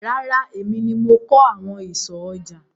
Rárá, èmi ni mo kan àwọn ìsọ̀ ọjà.